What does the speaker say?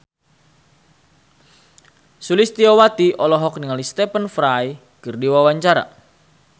Sulistyowati olohok ningali Stephen Fry keur diwawancara